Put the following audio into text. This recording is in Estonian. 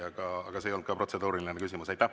Aga see ei olnud ka protseduuriline küsimus.